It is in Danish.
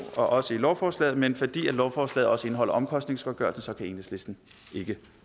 og også i lovforslaget men fordi lovforslaget også indeholder omkostningsgodtgørelse kan enhedslisten ikke